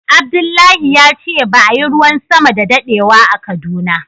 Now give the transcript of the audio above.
Abdullahi ya ce ba a Yi ruwan sama da dadewa a Kaduna ba.